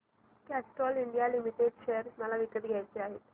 Castrol India limited share मला विकत घ्यायचे आहेत